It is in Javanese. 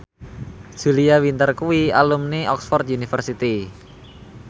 Julia Winter kuwi alumni Oxford university